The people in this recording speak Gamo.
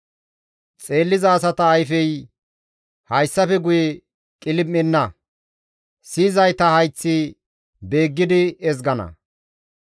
Xeelliza asata ayfey hayssafe guye qilim7enna; siyizayta hayththi beeggidi ezgana.